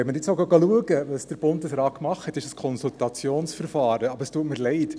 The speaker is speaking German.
Wenn wir schauen, was der Bundesrat gemacht hat – es ist das Konsultationsverfahren –, dann tut es mir leid: